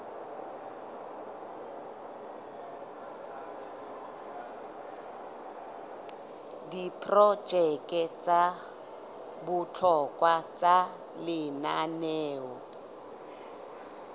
diprojeke tsa bohlokwa tsa lenaneo